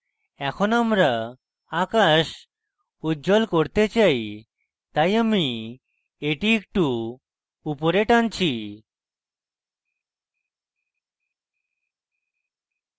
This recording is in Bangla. এখন আমরা আকাশ উজ্জ্বল করতে চাই তাই আমি এটি একটু উপরে টানছি